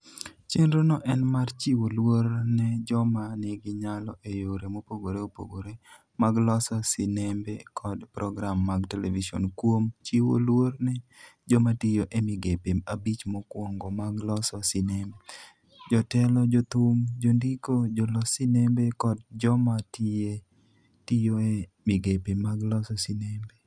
Chenrono en mar chiwo luor ne joma nigi nyalo e yore mopogore opogore mag loso sinembe kod program mag televison kuom chiwo luor ne joma tiyo e migepe abich mokwongo mag loso sinembe: jotelo, jothum, jondiko, jolos sinembe, kod joma tiyo e migepe mag loso sinembe.